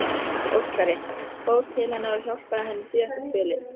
Óskari, fór til hennar og hjálpaði henni síðasta spölinn.